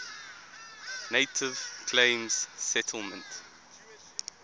native claims settlement